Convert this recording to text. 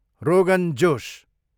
rogan josh